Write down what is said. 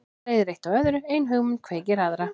Svo leiðir eitt af öðru, ein hugmynd kveikir aðra.